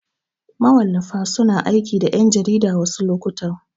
Mawallafa suna aiki da ƴan jarida wasu lokutan.